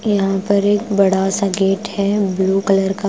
यहां पर एक बड़ा सा गेट है ब्लू कलर का।